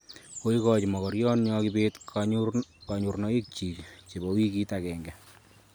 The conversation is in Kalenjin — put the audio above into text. Koigochi magorionyo kibet kanyorunoik chiik chebo wikit ag'enge